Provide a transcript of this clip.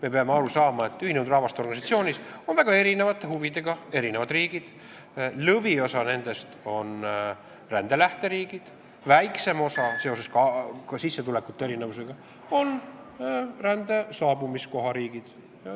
Me peame aru saama, et ÜRO-s on väga erinevate huvidega riigid, lõviosa nendest on rände lähteriigid, väiksem osa, ka sissetulekute erinevuse tõttu, on rände saabumiskoha riigid.